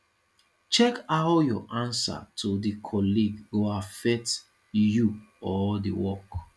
check how your answer to di colleague go affect you or di work